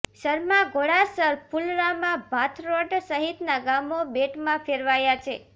સરમા ઘોડાસર ફૂલરામા ભાથરોડ સહીતના ગામો બેટમાં ફેરવાયા છે